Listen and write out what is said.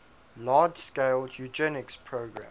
large scale eugenics program